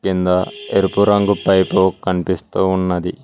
కింద ఎరుపు రంగు పైపు కనిపిస్తూ ఉన్నది.